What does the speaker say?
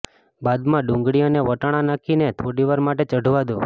બાદમાં ડુંગળી અને વટાણા નાખીને થોડીવાર માટે ચઢવા દો